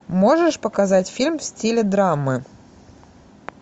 можешь показать фильм в стиле драмы